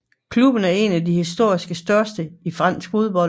Klubben er en af de historisk største i fransk fodbold